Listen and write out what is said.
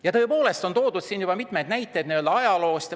Ja tõepoolest, siin on toodud juba mitmeid näiteid ajaloost.